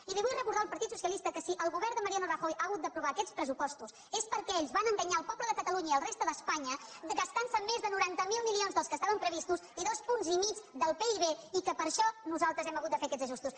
i li vull recordar al partit socialista que si el govern de mariano rajoy ha hagut d’aprovar aquests pressupostos és perquè ells van enganyar el poble de catalunya i la resta d’espanya gastant se més de noranta miler milions dels que estaven previstos i dos punts i mig del pib i que per això nosaltres hem hagut de fer aquests ajustos